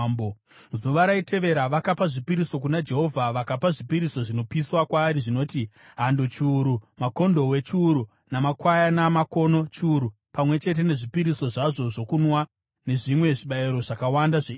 Zuva raitevera vakapa zvipiriso kuna Jehovha vakapa zvipiriso zvinopiswa kwaari zvinoti: hando chiuru, makondobwe chiuru, namakwayana makono chiuru, pamwe chete nezvipiriso zvavo zvokunwa, nezvimwe zvibayiro zvakawanda zveIsraeri.